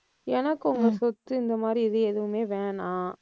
எனக்கு உங்க சொத்து இந்த மாதிரி இது எதுவுமே வேணாம்.